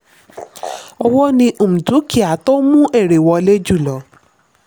owó ni um dúkìá tó ń mú èrè wọlé jù lọ.